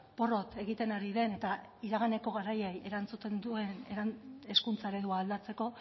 porrot egiten ari den eta iraganeko garaiei erantzuten duen hezkuntza eredua aldatzeko